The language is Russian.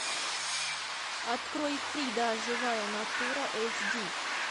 открой фрида живая натура эйч ди